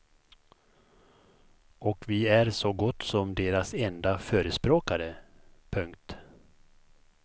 Och vi är så gott som deras enda förespråkare. punkt